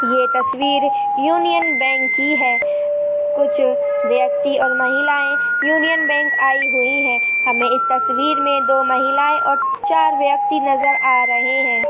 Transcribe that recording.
ये तस्वीर Union Bank की है कुछ व्यक्ती और महिलाये यूनियन बैंक मे आयी हुई है हमे इस तस्वीर मे दो महिलाए और चार व्यक्ती नजर आ रहे है।